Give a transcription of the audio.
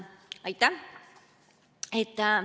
Aitäh!